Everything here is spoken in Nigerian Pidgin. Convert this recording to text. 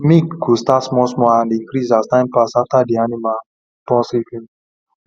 milk go start small small and increase as time pass after the animal born safely